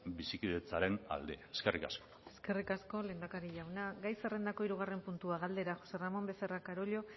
bizikidetzaren alde eskerrik asko eskerrik asko lehendakari jauna gai zerrendako hirugarren puntua galdera jose ramón becerra carollo